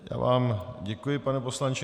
Já vám děkuji, pane poslanče.